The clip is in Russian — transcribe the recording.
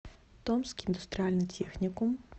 томский индустриальный техникум